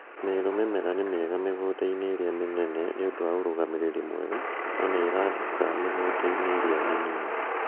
Meru mĩmera nĩ mĩega mĩgũnda-inĩ ĩria mĩnene nĩũndũ wa ũrũgamĩriri mwega no nĩrathũka mĩgunda-inĩ ĩrĩa mĩnini